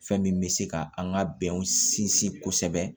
Fɛn min bɛ se ka an ka bɛnw sinsin kosɛbɛ